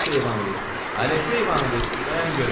Aleksey Ivanoviç, Aleksey Ivanoviç, dayan görüm.